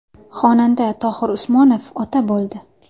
Xonanda Tohir Usmonov ota bo‘ldi.